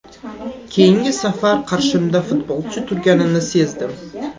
Keyingi safar qarshimda futbolchi turganini sezdim.